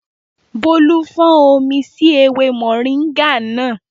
Bólú fọ́n omi sí ewé mọ̀ríńgà náà